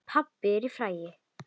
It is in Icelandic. Pabbinn frægi.